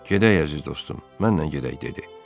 Gedək, əziz dostum, mənlə gedək, dedi.